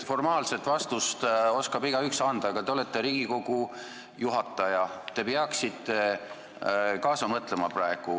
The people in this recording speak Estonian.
Formaalset vastust oskab igaüks anda, aga te olete Riigikogu esimees, te peaksite praegu kaasa mõtlema.